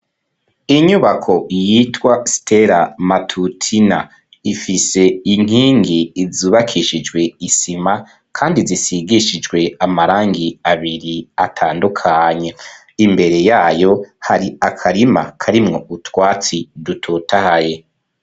inyubako yitwa stela matutina ifise inkingi izubakishijwe isima kandi zisigishijwe amarangi abiri atandukanye imbere yayo hari akarima karimwo utwatsi dutotahaye